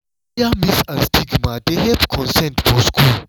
clear myth and stigma dey help consent for school.